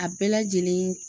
A bɛɛ lajɛlen